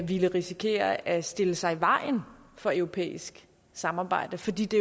ville risikere at stille sig i vejen for et europæisk samarbejde fordi det